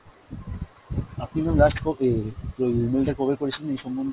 আপনি ma'am last ওই email টা কবে করেছিলেন এই সন্মন্ধে?